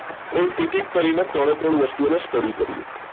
right એક એક કરીને ત્રણે ત્રણ વસ્તુઓની study કરીએ